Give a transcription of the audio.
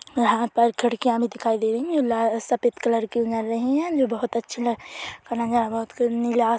यहाँ पर खिड़कियाँ भी दिखाई दे रही है ला-- सफेद कलर की लग रही है ये बहुत अच्छी नीला आस--